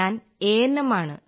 ഞാൻ A N M ആണ്